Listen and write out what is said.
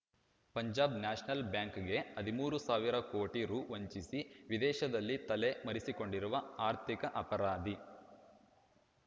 Punjab national ಬ್ಯಾಂಕ್‌ಗೆ ಹದಿಮೂರು ಸಾವಿರ ಕೋಟಿ ರೂ ವಂಚಿಸಿ ವಿದೇಶದಲ್ಲಿ ತಲೆ ಮರೆಸಿಕೊಂಡಿರುವ ಆರ್ಥಿಕ ಅಪರಾಧಿ